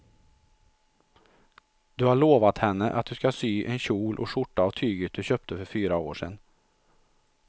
Du har lovat henne att du ska sy en kjol och skjorta av tyget du köpte för fyra år sedan.